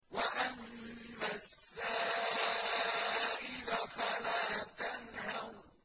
وَأَمَّا السَّائِلَ فَلَا تَنْهَرْ